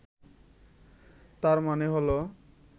তার মানে হলো